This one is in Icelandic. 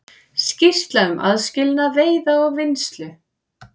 Skýrsla um aðskilnað veiða og vinnslu